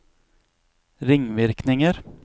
ringvirkninger